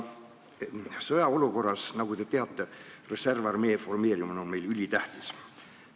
Sõjaolukorras, nagu te teate, on reservarmee formeerimine ülitähtis.